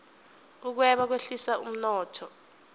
ukweba kwehlisa umnotho